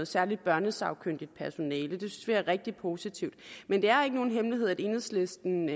særligt børnesagkyndigt personale det synes vi er rigtig positivt men det er ikke nogen hemmelighed at enhedslisten